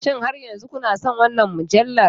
Shin har yanzu kuna son wannan mujallar?